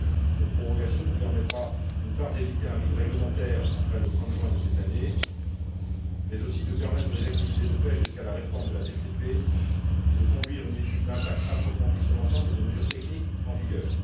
Cette prorogation nous permettra, d'une part, d'éviter un vide réglementaire après le 30 juin de cette année, mais aussi de permettre les activités de pêche jusqu'à la réforme de la PCP et de conduire une étude d'impact approfondie sur l'ensemble des mesures techniques en vigueur.